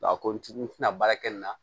a ko ni n tɛna baara kɛ nin na